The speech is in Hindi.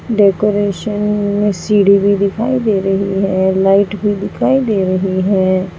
डेकोरेशन में सीढ़ी भी दिखाई दे रही है और लाइट भी दिखाई दे रही है।